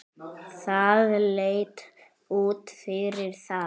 Það leit út fyrir það.